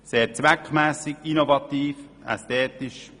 Es ist sehr zweckmässig, innovativ und ästhetisch.